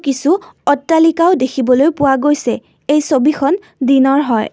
কিছু অট্টালিকাও দেখিবলৈ পোৱা গৈছে এই ছবিখন দিনৰ হয়।